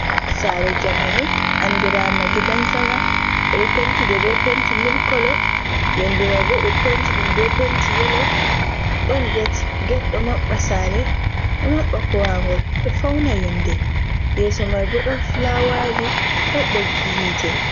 Sare jamanu andirama gidansama, ɓeɗo penti nde be penti mil kolo, yonde mai bo ɗo penti ɗum be penti yelo ɗon get, get ɗo maɓɓa sare ɗo maɓɓa kuwangol, ɗo fauna yonde, yeso mai bo ɗon fulawaji ɗon ɓoggi hite.